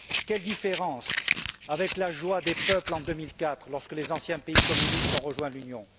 Quelle différence avec la joie des peuples en 2004, lorsque les anciens pays communistes ont rejoint l'Union!